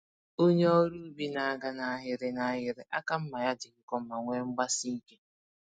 Onye ọrụ ubi na-aga nahịrị nahịrị, àkà mmá ya dị nkọ ma nwee mgbasike